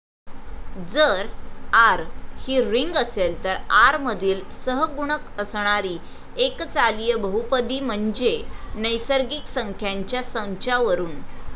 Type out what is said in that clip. जर'आर' ही रिंग असेल तर आर मधील सहगुणक असणारी एकचालिय बहुपदी म्हणजे, नैसर्गिक संख्यांच्या संचावरुन